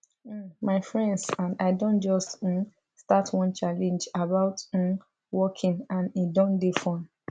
um my friends and i don just um start one challenge about um walking and e don dey fun